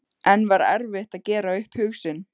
En var erfitt að gera upp hug sinn?